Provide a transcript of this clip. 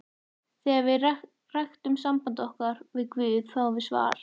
Þegar við ræktum samband okkar við guð fáum við svar.